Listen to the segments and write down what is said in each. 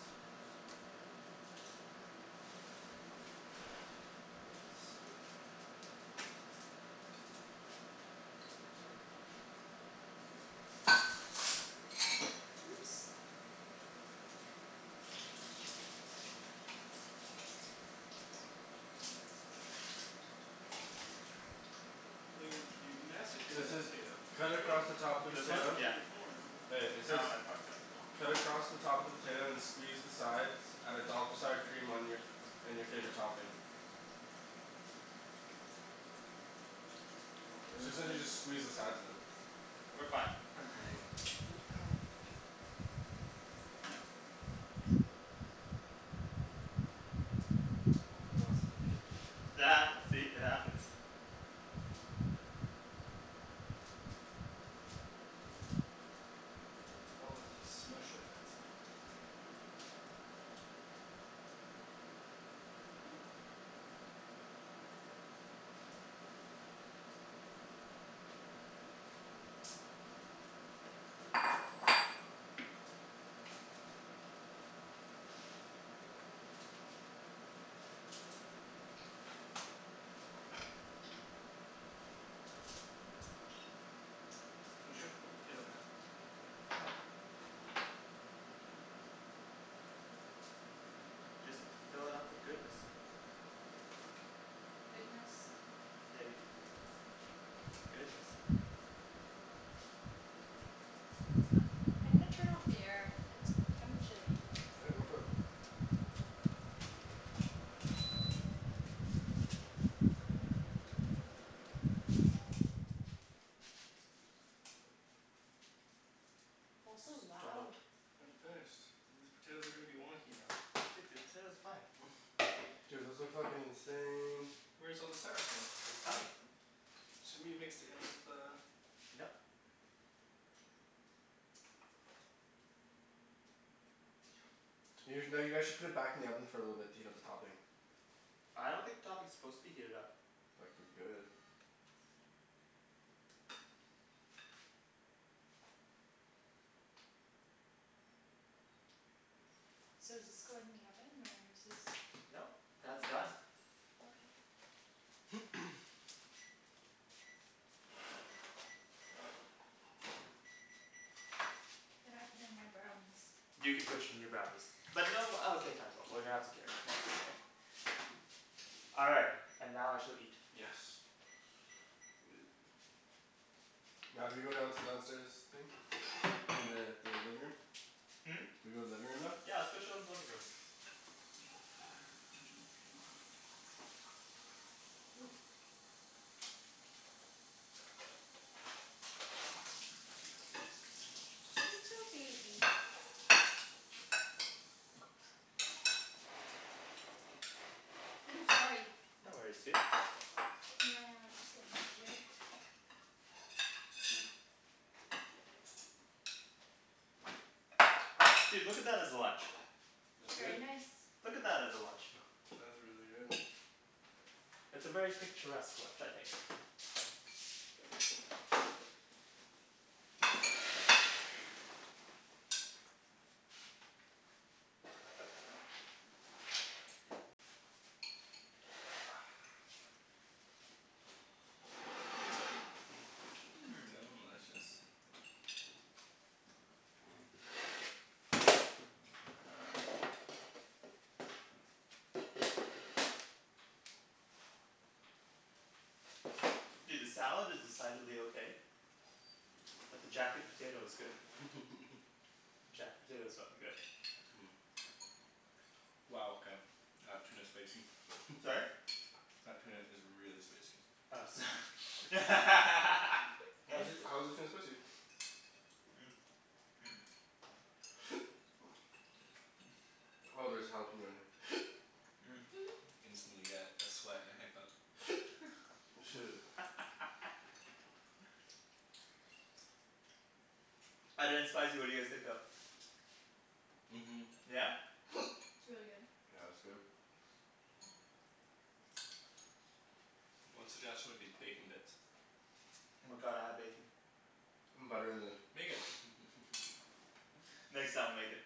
Oh, spoon. Oops, sorry. Oops. Oh you're you you massacred So it that says potato. cut What do you mean? across the top of the You were This one? supposed to potato. keep Yeah. the form. Hey, it That says one I fucked up. cut across the top of the potato and squeeze the sides. Add a dollop of sour cream on your, and your favorite topping. We're So it sounds gonna like make you it just squeeze the sides of it. We're fine Ooh, no Oh I lost a potato to your See? It happens. Oh if you smush it that's easier. There you go. Don't you have to put the potato back? No. I just have to fill it up with goodness. Goodness? Yeah dude. Goodness. I'm gonna turn off the air. It's kind of chilly. Yeah, go for it. Also loud. Dollop. I hadn't finished. These potatoes are gonna be wonky now. Dude, the potatoes are fine. Dude those look fuckin' insane. Where's all the sour cream? It's coming. Shouldn't we have mixed it in with the Nope. You no, you guys should put it back in the oven for a little bit to heat up the topping. I don't think the topping is supposed to be heated up. Fucking good. So does this go in the oven or is this Nope, that's done. Okay. Then I put in my brownies. You can put your new brownies. But no uh okay fine but we're gonna have to carry it, mom's away. All right, and now I shall eat. Yes. Now do we go down to the downstairs thing? I mean the the living room? Hmm? Do we go living room now? Yeah, let's go chill in the living room. Ooh. Little baby. Woo, sorry. No worries, dude. Can I uh just get in over here? Mm. Dude, look at that as a lunch. That's good. Very nice. Look at that as a lunch. That is really good. It's a very picturesque lunch, I think. Mmm. Hmm Delicious. Dude, this salad is decidedly okay. But the jacket potato is good. Jacket potato is fucking good. Wow okay. That tuna's spicy. Sorry? That tuna is really spicy. Oh so Why is it, how is the tuna spicy? Oh there's jalapeno in here. Instantly get a sweat and a hiccup. Shit. Other than spicy what do you guys think though? Mhm. Yeah? It's really good. Yeah it's good. One suggestion would be bacon bits. Oh my god, I have bacon. Butter in the Make it Next time I'll make it.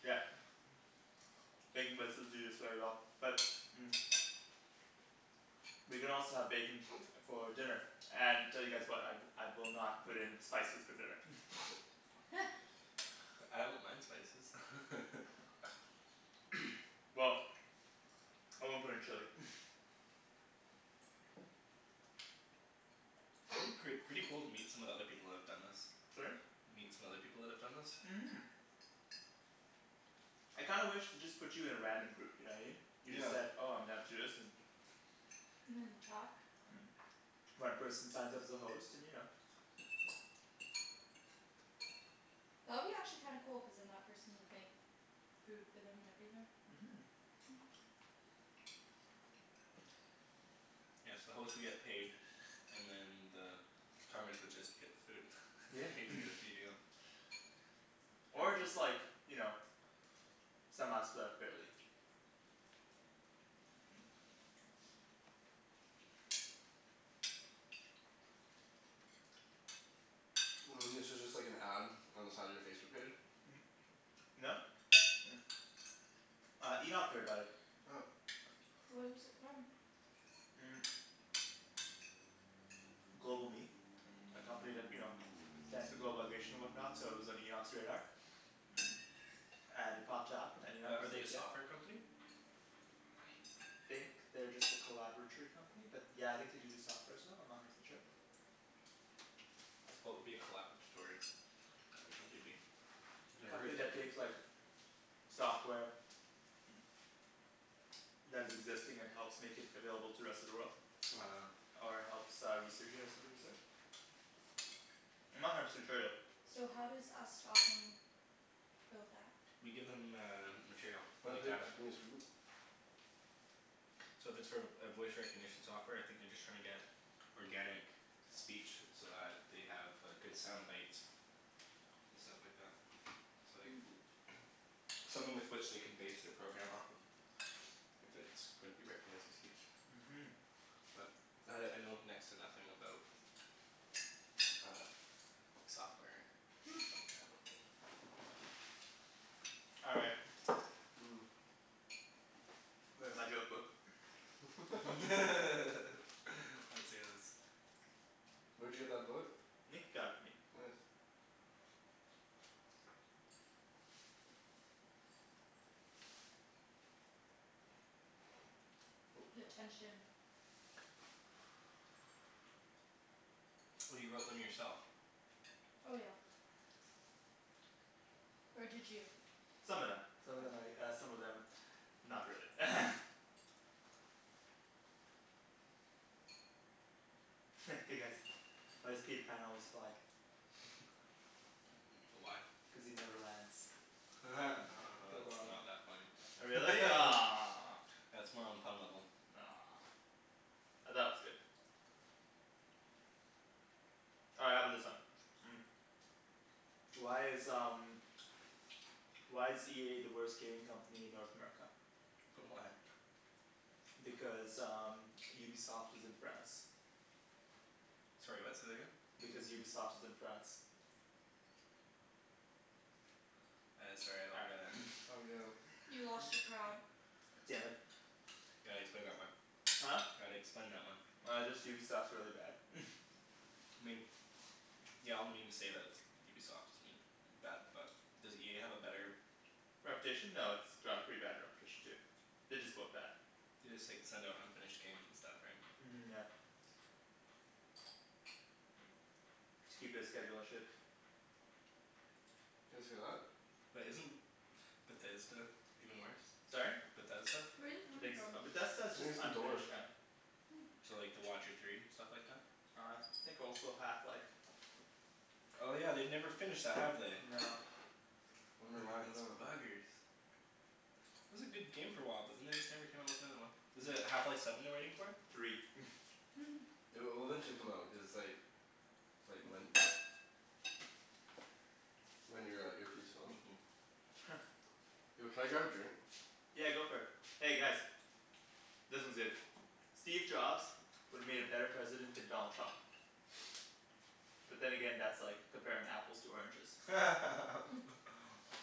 Yeah. Bacon bits would do this very well but We can also have bacon for dinner and tell you guys what, I I will not put in spices for dinner I don't mind spices Well I won't put in chili It'd be pret- pretty cool to meet some of the other people that have done this. Sorry? Meet some other people that have done this? Mhm. I kinda wish they just put you in a random group, you know what I mean? You just Yeah. said "oh I'm down to do this" and talk One person signs up as a host and you know That would be actually kinda cool cuz then that person would make food for them and everything. Mhm. Hmm Yeah so the host would get paid and then the would just get the food. Yeah Not even gonna feed you. Or just like you know somehow split up fairly. This is just like an ad on the side of your Facebook page? No. Uh, Enoch heard about it. Oh. Where is it from? GlobalMe A company that, you know globalization and whatnot so it was on Enoch's radar. And it popped up and Enoch Are was are they a like "yeah." software company? I think they're just a collaboratory company but yeah I think do do softwares though, I'm not a hundred percent sure. What would be a collaboratory Uh a company be? A Never Never company heard heard that that that term. takes term. like software that is existing and helps make it available to rest of the world. Uh Ah. Or helps uh research it or something of the sort. I'm not a hundred percent sure though. So how does us talking build that? We give them uh material. Like data. gimme a spoon? So if it's for a voice recognition software I think they're just trying to get organic speech so that they have good sound bites. And stuff like that. So like Hmm. something with which they can base their program off of. If it's going to be recognizing speech. Mhm. But I I know next to nothing about uh software and Hmm. stuff like that. All right. Mm. Where's my joke book? Let's hear this. Where'd you get that book? Nick got it for me. Nice. Oh, The sorry. tension. Oh you wrote them yourself. Oh yeah. Or did you? Some of them. Some of them Oh. I uh some of them not really Hey guys, why does Peter Pan always fly? Why? Cuz he never lands. That's Wow. not that funny. Oh really? Aw That's more on pun level. Aw I thought it was good All right how about this one? Why is um why is EA the worst gaming company in North America? Why? Because um Ubisoft is in France. Sorry what? Say that again? Because Ubisoft is in France. I sorry I All don't get it. right Oh yeah. You lost your crowd. Damn it. You gotta explain that one. Huh? Gotta explain that one. Uh just Ubisoft's really bad I mean. Yeah all the memes say that it's Ubisoft is I mean bad but does EA have a better Reputation? No, it's Yeah they have a pretty bad reputation too. They're just both bad. They just like send out unfinished games and stuff right? Mhm yeah. To keep their schedule and shit. Did you guys hear that? But isn't Bethesda even worse? Sorry? Bethesda? Where is it I coming think s- . from? But Bethesda's I just think it's the door. unfinished kinda Hmm. So like The Watcher Three and stuff like that? I think also Half Life. Oh yeah, they've never finished that, have they? No. Wonder why, no. Those buggers. It was a good game for a while but then they just never came out with another one. Is it Half Life Seven they're waiting for? Three It'll it'll eventually come out, cuz it's like Like Ryan your uh earpiece fell out. Yo can I grab a drink? Yeah, go for it. Hey guys This one's good. Steve Jobs would've made a better president than Donald Trump. But then again, that's like comparing apples to oranges.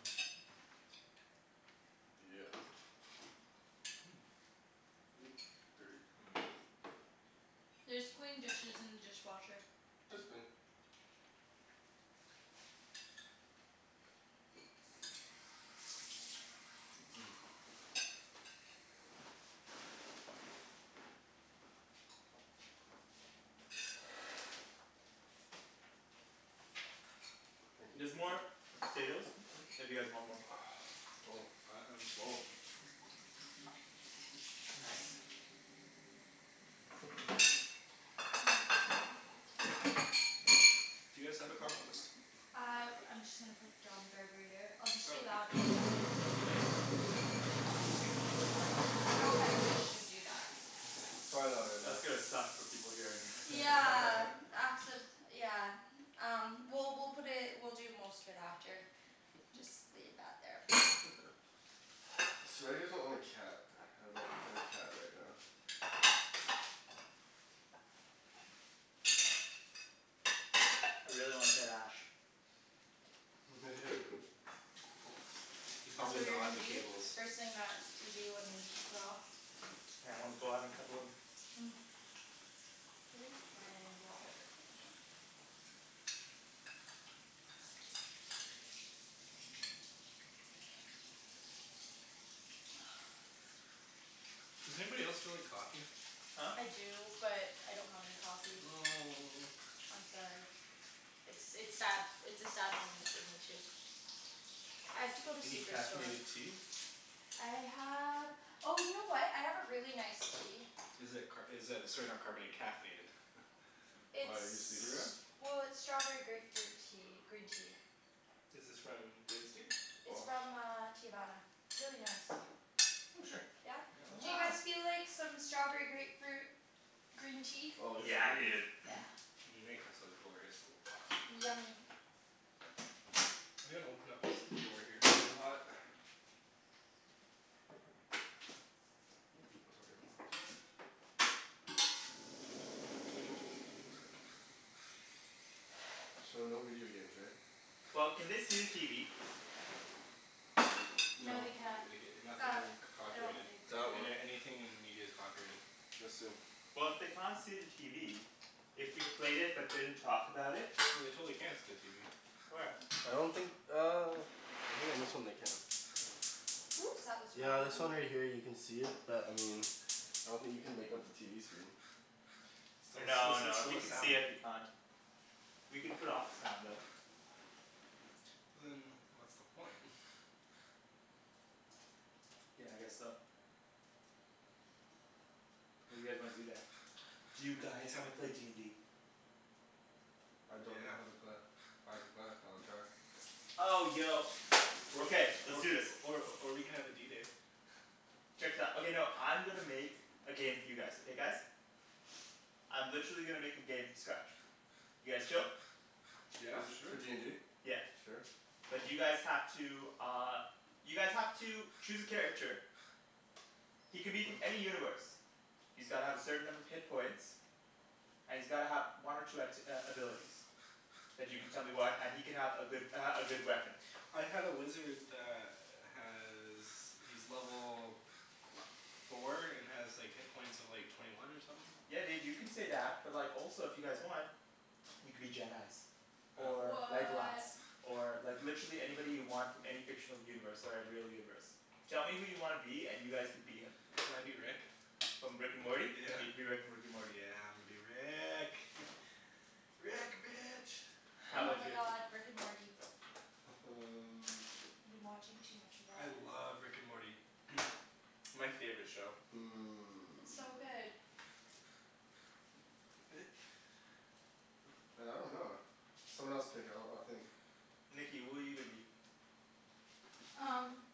Yeah. Oop, dirty. There's clean dishes in the dishwasher. It's clean. Thank you. There's more potatoes if you guys want more. I I'm full. Nice. Do you guys have a compost? I I'm just gonna put it down the garburator. I'll just be loud Oh. know if I should even do that. Probably That's not good, gonna no. suck for people hearing Yeah accid- yeah Um well we'll put it, we'll do most of it after. Just leave that there for now. It's too bad you guys don't own a cat. I would love to play with a cat right now. I really want a tight ash. Yeah. They're That's probably what you're not gonna the do? cables. The first thing that you do when we're off? Yeah I wanna go out and cuddle him. Hmm. Where's my water Does anybody else feel like coffee? Huh? I do but I don't have any coffee. Oh. I'm sorry. It's it's sad, it's a sad moment for me too. I have to go to Any Superstore. caffeinated tea? I have, oh you know what? I have a really nice tea. Is it car- is it sorry not carbona- caffeinated? Why, are you sleepy It's Ryan? well, it's strawberry grapefruit tea, green tea. Is this from David's Tea? It's from uh Teavana. It's really nice. Oh sure. Yeah Yeah? I'd love Do some. you guys feel like some strawberry grapefruit green tea? Oh, yes Yeah please. dude. Yeah. Make us a glorious little pot please. Yummy. I'm gonna open up this door here, it's really hot. So no video games, right? Well, can they see the TV? No No they can't. Uh. nothing c- copyrighted. That one. Any- anything in media is copyrighted. Just in. Well if they can't see the TV. If we played it but didn't talk about it. No they totally can see the TV. Where? I don't think uh I think on this one they can. Oops, that was the wrong Yeah, one. this one right here you can see it, but I mean I don't think you can make out the TV screen. But it's still No it's no. If still, you there's can see sound. it, we can't. We can put off the sound though. But then what's the point? Yeah I guess so. What do you guys wanna do then? Do you You guys wanna haven't play d n d? I don't know Yeah. how to play. I can play. I'll try. Oh yo. Or Okay, let's or do this. or or we can have a D day. Check this out. Okay no, I'm gonna make a game for you guys, okay guys? I'm literally gonna make a game from scratch. You guys chill? Yeah Is it sure. for d n d? Yeah. Sure. But you guys have to uh you guys have to choose a character. He can be from any universe. He's gotta have a certain number of hit points. And he's gotta have one or two act- uh abilities. And you can tell me Yeah. what and he can have a good uh a good weapon. I had a wizard that has, he's level four and has like hit points of like twenty one or somethin'. Yeah dude, you can say that. But like also if you guys want you can be Jedis. Or Legolas. What! Or like literally anybody you want from any fictional universe or real universe. Tell me who you wanna be and you guys can be him. Can I be Rick? From Rick and Morty? Yeah. You can be Rick from Rick and Morty. Yeah I'm gonna be Rick. Rick, bitch. How Oh 'bout Oh. my you? god. Rick and Morty. um I've been watching too much of I that love Rick and Morty. My favorite show. It's so good. Hmm Man I dunno. Someone else pick, I'll I'll think. Nikki, who are you gonna be? Um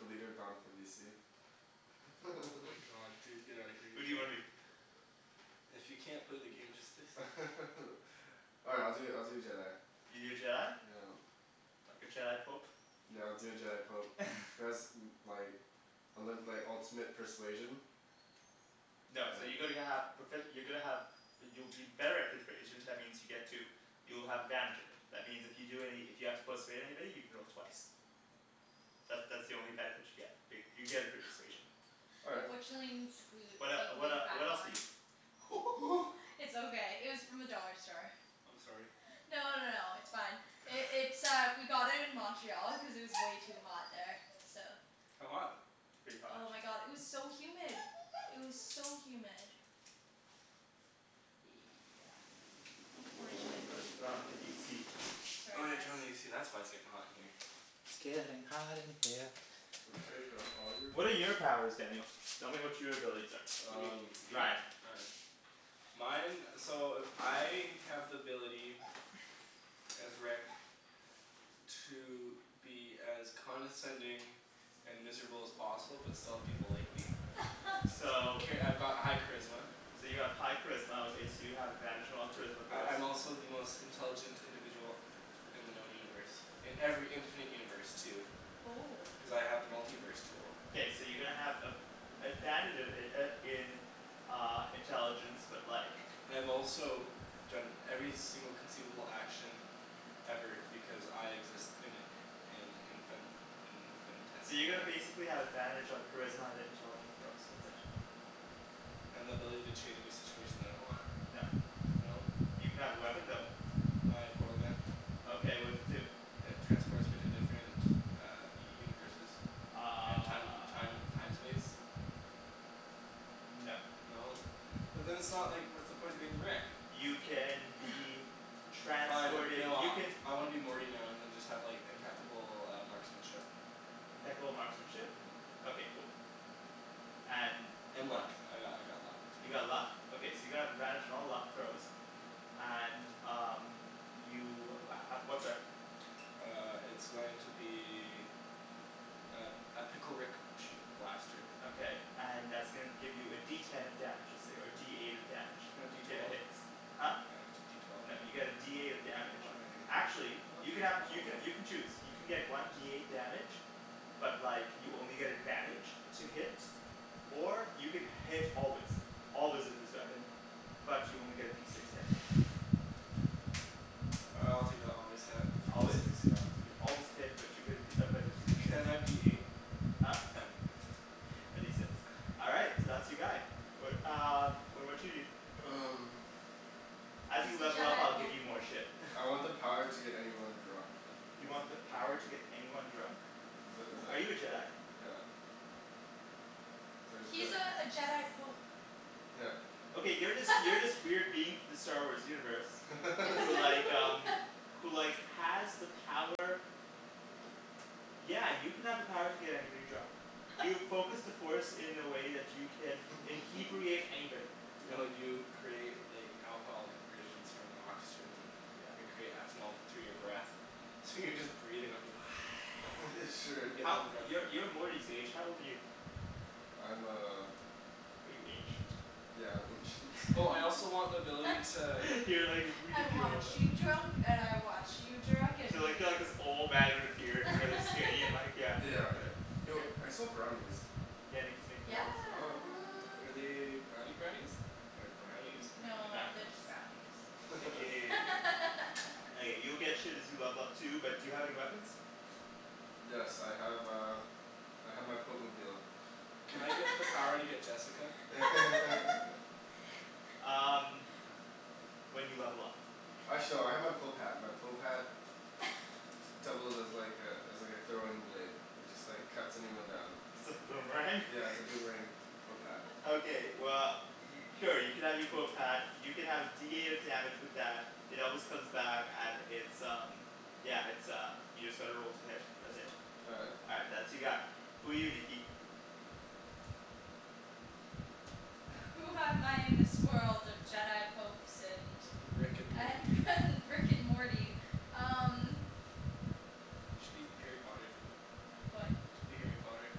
The leader of Oh my god dude, get out of here. You Who do you can't wanna be? If you can't play the game just say so. Alright I'll do I'll do a Jedi. You do a Jedi? Yeah. Like a Jedi pope? Yeah I'll do a Jedi pope. Cuz like and then like ultimate persuasion. No, so you're going to have profe- you're gonna have you'll you're better at persuasion. That means you get to you'll have advantage of it. That means if you do any, if you have to persuade anybody you can roll twice. That that's the only benefit you get, but you get a persuasion. All right. Unfortunately it needs to glue What it uh be what uh glued back what else are on. you? It's okay, it was from the dollar store. I'm sorry. No no no no, it's fine. It's uh we got it in Montreal because it was way too hot there, so How hot? Pretty hot. Oh my god, it was so humid! It was so humid. Yeah, Let's unfortunately. put on the AC. Sorry Oh yeah guys. turn on the AC, that's why it's getting hot in here. It's gettin' hot in here. So take off all your What are your clothes. powers, Daniel? Tell me what your abilities are. You Um mean me? Ryan Ryan. Mine, so I have the ability as Rick to be as condescending and miserable as possible, but still have people like me. So Okay, I've got high charisma. So you have high charisma okay, so you have advantage on all charisma corrals I'm also the most intelligent individual in the known universe. In every infinite universe too. Oh Cuz I have the multi-verse tool. K, so you're gonna have a- advantage uh uh in uh intelligence but like And I've also done every single conceivable action ever because I exist in in infin- So you're gonna infinitesimal basically have advantage on charisma and it intelligent throws. That's it. And the ability to change any situation that I want. No. No. You can have a weapon Aw though. My portal gun. Okay, what does it do? It transports me to different universes and time Uh time time space. No. No? But then it's not like, what's the point of being Rick? You can be Fine transported. no, You I can I wanna be Morty now and then just have impeccable uh marksmanship. Impeccable marksmanship? Mhm. Okay cool. And And what else? luck. I got I got luck too. You got luck? Okay so you're gonna have advantage on all luck throws. And um you uh uh what weapon? Uh it's going to be a a pickle Rick shoot blaster. Okay and that's gonna give you a D ten of damage, let's say, or a D eight of damage. Can I have D If it twelve? hits. Huh? Can I have D twelve? No, you get a D eight of damage. Why? Actually, I you wanted can to have throw. you can you can choose. You can get one D eight damage But like you only get advantage to hit or you can hit always. Always with this weapon, but you only get a D six damage. I'll take the always hit for D Always? six yep. So you always hit, but you get a D but it's a D six. Can I be eight? Huh? No. Can A D six. All right, so that's your guy. What uh what about you dude? Um As you He's a level up Jedi I'll give pope. you more shit I want the power to get anyone drunk. Is You it want the power to get anyone drunk? Is it is Are you a it, Jedi? yep So I just go He's like uh a Jedi pope. Yep. Okay, you're this you're this weird being from the Star Wars universe who like um who like has the power Yeah, you can have the power to get anybody drunk. You've focused the force in a way that you can "inhebriate" anybody. No you create like alcohol conversions from oxygen. Your Yeah. create ethanol through your breath. So you're just breathin' out you go Sure. and gettin' How, 'em drunk. you're you're Morty's age. How old are you? I'm uh Are you ancient? Yeah, I'm ancient. Oh I also want the ability to You're like "I really want old you huh drunk and I want you drunk, and You're like you you're like drunk." this old man with a beard and really skinny and like yeah. Yeah, yeah. Yo, I smell brownies. Yeah, Nikki's making Yeah. brownies. Oh what. Are they brownie brownies or brownie's brownie? No, Brownie they're brownies. just brownies. Aw, Nikki. Okay, you'll get shit as you level up too, but do you have any weapons? Yes I have uh I have my pope-mobile. Can I get the power to get Jessica? Um When you level up. K. Actually, no I have my pope hat. My pope hat d- d- doubles as like a as like a throwing blade. It just like cuts anyone down. It's a boomerang? Yeah, it's a boomerang pope hat. Okay well, y- oh you can have your pope hat. You can have a D eight of damage with that. It always comes back and it's um yeah, it's uh, you just gotta roll to hit. That's it. All right. All right, that's your guy. Who are you, Nikki? Who am I in this world of Jedi popes and Rick and Morty. and and Rick and Morty? Um Should be Harry Potter. What? Should be Harry Potter.